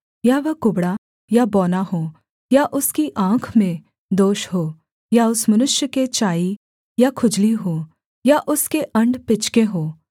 या वह कुबड़ा या बौना हो या उसकी आँख में दोष हो या उस मनुष्य के चाईं या खुजली हो या उसके अण्ड पिचके हों